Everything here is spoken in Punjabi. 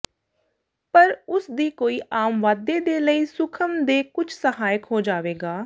ਪਰ ਉਸ ਦੀ ਕੋਈ ਆਮ ਵਾਧੇ ਦੇ ਲਈ ਸੂਖਮ ਦੇ ਕੁਝ ਸਹਾਇਕ ਹੋ ਜਾਵੇਗਾ